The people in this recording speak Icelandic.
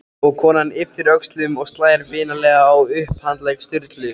Og konan ypptir öxlum og slær vinalega á upphandlegg Sturlu.